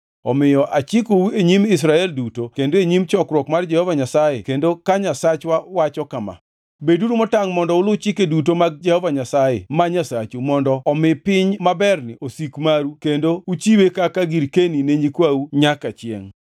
“Omiyo achikou e nyim Israel duto kendo e nyim chokruok mar Jehova Nyasaye kendo ka Nyasachwa wacho kama: Beduru motangʼ mondo ulu chike duto mag Jehova Nyasaye ma Nyasachu mondo omi piny maberni osik maru kendo uchiwe kaka girkeni ne nyikwau nyaka chiengʼ.